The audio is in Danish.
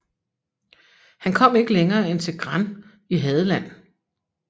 Han kom ikke længere end til Gran i Hadeland